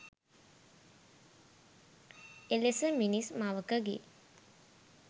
එලෙස මිනිස් මවකගේ